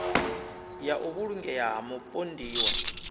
ya u vhulungea ha mupondiwa